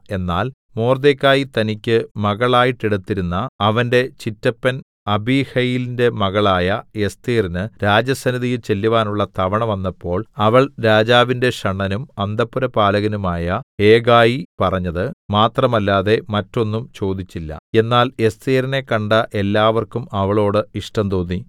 എന്നാൽ മൊർദെഖായി തനിക്ക് മകളായിട്ടെടുത്തിരുന്ന അവന്റെ ചിറ്റപ്പൻ അബീഹയീലിന്റെ മകളായ എസ്ഥേരിന് രാജസന്നിധിയിൽ ചെല്ലുവാനുള്ള തവണ വന്നപ്പോൾ അവൾ രാജാവിന്റെ ഷണ്ഡനും അന്തഃപുരപാലകനുമായ ഹേഗായി പറഞ്ഞത് മാത്രമല്ലാതെ മറ്റൊന്നും ചോദിച്ചില്ല എന്നാൽ എസ്ഥേരിനെ കണ്ട എല്ലാവർക്കും അവളോട് ഇഷ്ടം തോന്നി